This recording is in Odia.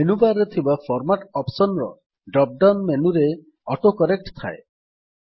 ମେନୁ ବାର୍ ରେ ଥିବା ଫର୍ମାଟ୍ ଅପ୍ସନ୍ ର ଡ୍ରପ୍ ଡାଉନ୍ ମେନୁରେ ଅଟୋ କରେକ୍ଟ୍ ଥାଏ